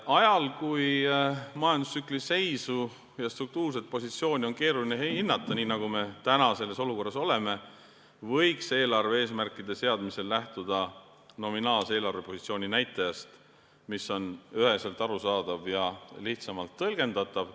Ajal, kui majandustsükli seisu ja struktuurset positsiooni on keeruline hinnata, nii nagu praeguses olukorras, võiks eelarve eesmärkide seadmisel lähtuda nominaalse eelarvepositsiooni näitajast, mis on üheselt arusaadav ja lihtsamalt tõlgendatav.